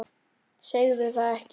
Segðu það ekki